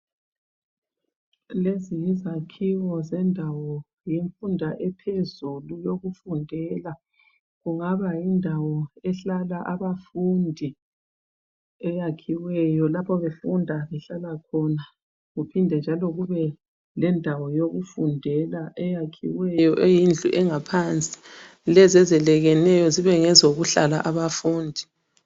Lezi yizakhiwo zendawo yemfunda ephezulu yokufundela. Kungaba yindawo ehlala abafundi eyakhiweyo lapho befunda behlala khona kuphinde njalo kube lendawo yokufundela eyakhiweyo eyindlu engaphansi lezi ezelekeneyo zibe ngezokuhlala abafundi.